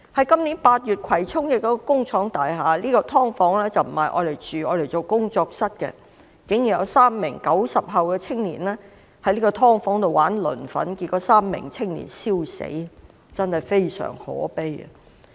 今年8月，在葵涌一幢工廠大廈，竟然有3名 "90 後"青年在"劏房"——該"劏房"並非作住宅用途，而是用作工作室——玩磷粉，結果這3名青年燒死，真的非常可悲。